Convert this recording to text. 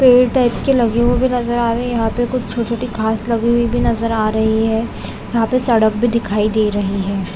पेड़ टाइप की लगी हुई नज़र आ रहे है यहाँ पे छोटे-छोटे घाँस लगे हुई भी नज़र आ रही है यहाँ पे सड़क भी दिखाई दे रहे है ।